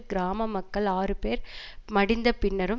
கிராம மக்கள் ஆறு பேர் மடிந்த பின்னரும்